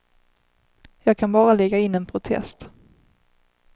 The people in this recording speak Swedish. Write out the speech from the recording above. Jag kan bara lägga in en protest.